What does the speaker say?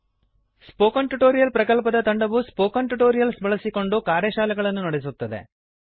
spoken tutorial ಪ್ರಕಲ್ಪದ ತಂಡವು spoken tutorials ಬಳಸಿಕೊಂಡು ಕಾರ್ಯಶಾಲೆಗಳನ್ನು ನಡೆಸುತ್ತದೆ